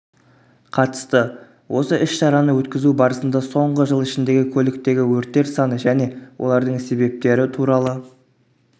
қатысты осы іс-шараны өткізу барысында соңғы жыл ішіндегі көліктегі өрттер саны және олардың себептері туралы